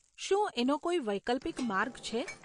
શું એનો કોઈ વૈકલ્પિક માર્ગ છે?